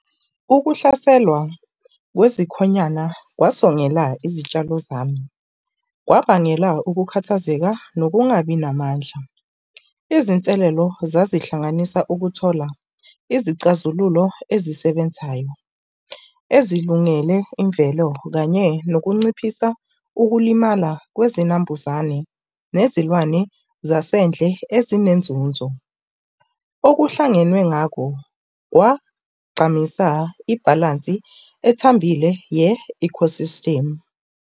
Ukuhlaselwa kwezikhonyana kwasongela izitshalo zami. Kwabangela ukukhathazeka nokungabi namandla. Izinselelo zazihlanganisa ukuthola izicazululo ezisebenzayo ezilungele imvelo, kanye nokunciphisa ukulimala kwezinambuzane nezilwane zasendle ezinenzuzo. Okuhlangenwe ngako kwagcamisa ibhalansi ethambile ye-ecosystem.